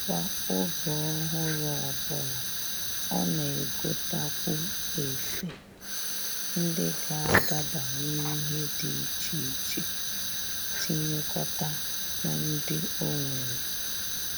Kwa oge ọhụrụ ọbụla, ọ na-egotakwu efe ndị ga-adaba n'ihe dị iche iche tinyekọta na ndị o nwere